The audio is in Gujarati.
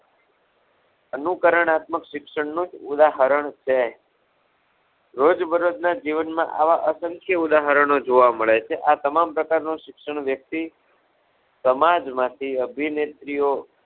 અનુકરણાત્મક શિક્ષણનું જ ઉદાહરણ કહેવાય, રોજ બરોજ ના જીવન માં આવા અસંખ્ય ઉદાહરણો જોવા મળે છે. આ તમામ પ્રકારનું શિક્ષણ વ્યક્તિ સમાજમાં થી અભિનેત્રીઓ